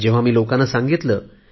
जेव्हा मी लोकांना सांगितले